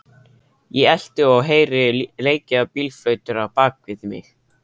Ég elti, og heyri leikið á bílflautur á bakvið mig.